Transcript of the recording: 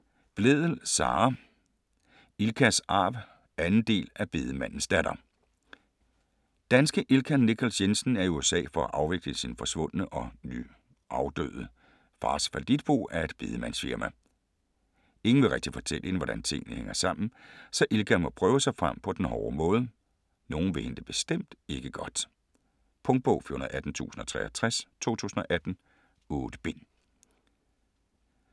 Blædel, Sara: Ilkas arv 2. del af Bedemandens datter. Danske Ilka Nichols Jensen er i USA for at afvikle sin forsvundne og nu afdøde fars fallitbo af et bedemandsfirma. Ingen vil rigtig fortælle hende, hvordan tingene hænger sammen, så Ilka må prøve sig frem på den hårde måde. Nogen vil hende det bestemt ikke godt. Punktbog 418063 2018. 8 bind.